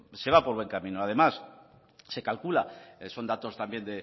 se va por buen camino además se calcula son datos también